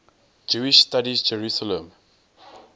jewish studies jerusalem